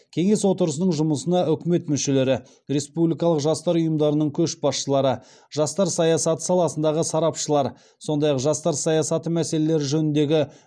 кеңес отырысының жұмысына үкімет мүшелері республикалық жастар ұйымдарының көшбасшылары жастар саясаты саласындағы сарапшылар сондай ақ жастар саясаты мәселелері жөніндегі